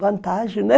Vantagem, né?